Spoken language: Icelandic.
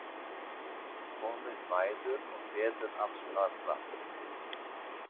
Komið mæður og feður alls staðar frá.